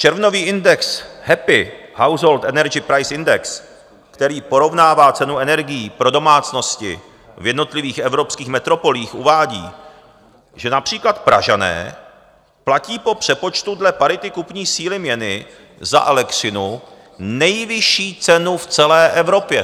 Červnový index Happy Household Energy Price Index, který porovnává cenu energií pro domácnosti v jednotlivých evropských metropolích, uvádí, že například Pražané platí po přepočtu dle parity kupní síly měny za elektřinu nejvyšší cenu v celé Evropě.